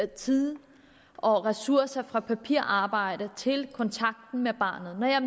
tid og ressourcer fra papirarbejdet til kontakten med barnet når jeg